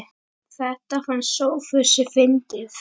Þetta fannst Sófusi fyndið.